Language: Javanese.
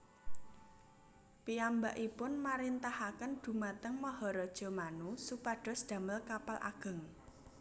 Piyambakipun marintahaken dhumateng Maharaja Manu supados damel kapal ageng